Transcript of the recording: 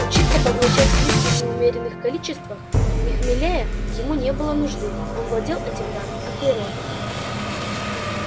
учиться поглощать виски в неумеренных количествах не хмелея ему не было нужды он владел этим даром от природы